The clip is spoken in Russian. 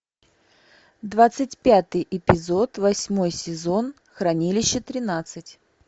двадцать пятый эпизод восьмой сезон хранилище тринадцать